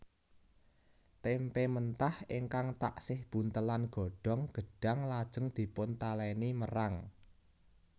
Témpé mentah ingkang taksih buntelan godhong gedhang lajeng dipuntalèni merang